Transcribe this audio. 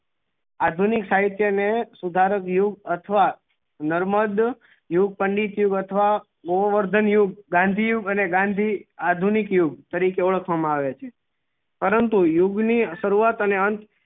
આધુનિક સાહિત્ય ને સુધાર્વિયું અથવા નર્મદ યુગ પંડિત યુગ અથવા ગોવર્ધન યુગ ગાંધી યુગ અને ગાંધી આધુનિક યુગ તરીકે ઓળખવા માં આવે છે પરંતુ યુગ ની શરૂરાત અને અંત